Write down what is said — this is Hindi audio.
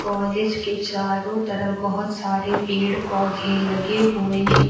कॉलेज के चारों तरफ बहोत सारे पेड़ पौधे लगे हुए हैं।